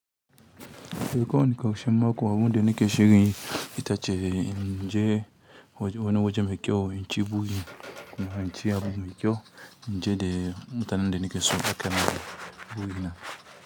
Eh ko wani ƙarshen mako abun de nike shiri itace inje waje wane waje mekyau incin buri kuma incin abu mekyau inje de mutanen de nike so haka ne burina.